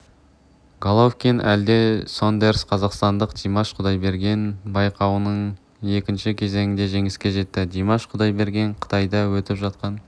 головкин әлде сондерс қазақстандық димаш кұдайберген байқауының екінші кезеңінде жеңіске жетті димаш кұдайберген қытайда өтіп жатқан